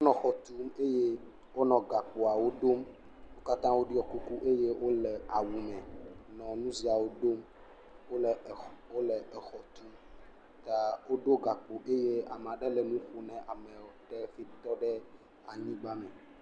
Wonɔ xɔ tum eye wonɔ gakpoawo ɖom, wo katã woɖɔ kuku eye wole awu me le nu siawo ɖom wole exɔ tum ta woɖo gakpo eye ame aɖe le nu ƒom na amewe ɖe ye ŋutɔ ƒe anyigba me.